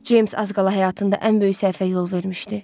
Ceyms az qala həyatında ən böyük səhvə yol vermişdi.